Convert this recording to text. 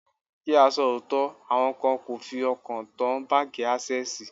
Kí á sọ òótọ́, àwọn kan kò fi ọkàn tán báńkì Ásẹ́sìì.